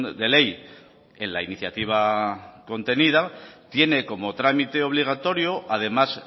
de ley en la iniciativa contenida tiene como trámite obligatorio además